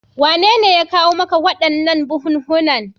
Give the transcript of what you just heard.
Wanene ya kawo maka waɗannan buhunhunan?